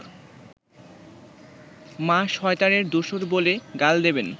মা শয়তানের দোসর বলে গাল দেবেন